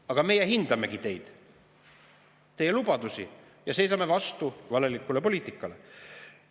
Aga meie hindamegi teid, teie lubadusi, ja seisame vastu valelikule poliitikale.